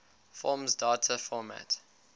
forms data format